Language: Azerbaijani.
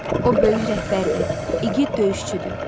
O böyük rəhbərdir, igid döyüşçüdür.